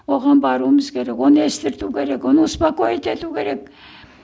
оған баруымыз керек оны естірту керек оны успокоит ету керек